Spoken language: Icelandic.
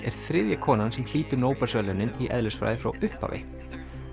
er þriðja konan sem hlýtur Nóbelsverðlaunin í eðlisfræði frá upphafi